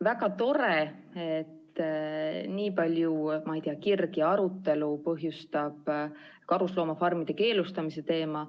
Väga tore, et nii palju kirgi ja arutelu põhjustab karusloomafarmide keelustamise teema.